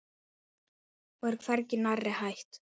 Og er hvergi nærri hætt.